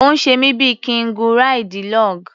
Ó ń ṣe mí bí i kí n gun ráìdì log.